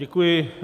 Děkuji.